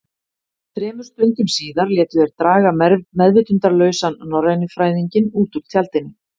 Þremur stundum síðar létu þeir draga meðvitundarlausan norrænufræðinginn út úr tjaldinu.